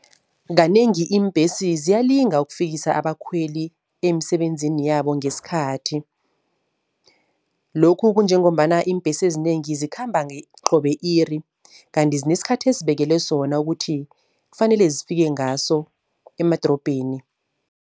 Kanengi iimbhesi ziyalinga ukufikisa abakhweli emisebenzini yabo ngesikhathi. Lokhu kunjengombana iimbhesi ezinengi zikhamba qobe-iri, kanti zinesikhathi esibekelwe sona ukuthi kufanele zifike ngaso emadrobheni.